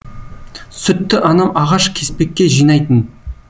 сүтті анам ағаш кеспекке жинайтын